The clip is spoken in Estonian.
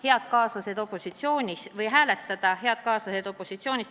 Head kaaslased opositsioonist!